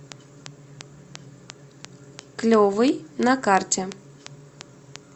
клевый на карте